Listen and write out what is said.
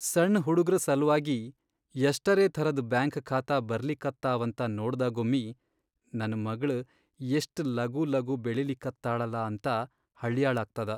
ಸಣ್ ಹುಡುಗ್ರ ಸಲ್ವಾಗಿ ಯಷ್ಟರೇ ಥರದ್ ಬ್ಯಾಂಕ್ ಖಾತಾ ಬರ್ಲಿಕತ್ತಾವಂತ ನೋಡ್ದಾಗೊಮ್ಮಿ ನನ್ ಮಗ್ಳ್ ಯಷ್ಟ್ ಲಗೂಲಗೂ ಬೆಳಿಲಿಕತ್ತಾಳಲಾ ಅಂತ ಹಳ್ಯಾಳಾಗ್ತದ.